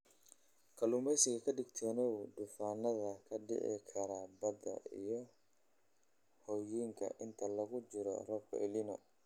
Kalluumeysiga Ka digtoonow duufaannada ka dhici kara badaha iyo harooyinka inta lagu jiro roobabka El Niño.